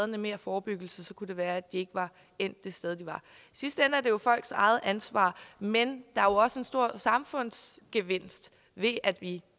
mere forebyggelse kunne det være at de ikke var endt det sted de var i sidste ende er det jo folks eget ansvar men der er jo også en stor samfundsgevinst ved at vi